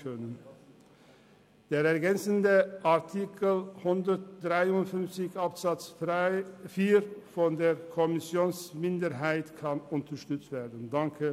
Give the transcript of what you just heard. Wir unterstützen den Antrag der Kommissionsminderheit bezüglich des Artikels 153 Absatz 4.